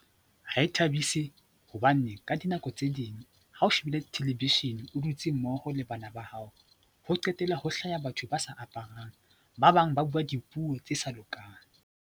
Ha e thabise hobane ka dinako tse ding ha o shebile television, o dutse mmoho le bana ba hao, ho qetella ho hlaha batho ba sa aparang, ba bang ba bua dipuo tse sa lokang.